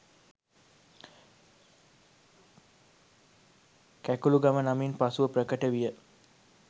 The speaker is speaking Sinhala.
කැකුළුගම නමින් පසුව ප්‍රකට විය